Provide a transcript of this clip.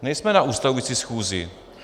Nejsme na ustavující schůzi.